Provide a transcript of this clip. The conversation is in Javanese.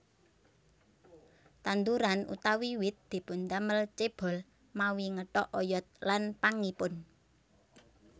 Tandhuran utawi wit dipundamel cébol mawi ngethok oyot lan pangipun